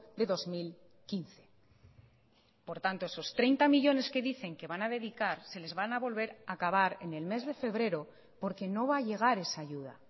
de dos mil quince por tanto esos treinta millónes que dicen que van a dedicar se les van a volver a acabar en el mes de febrero porque no va a llegar esa ayuda